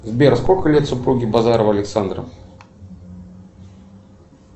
сбер сколько лет супруге базарова александра